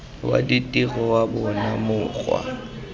wa ditiro wa bona mokgwa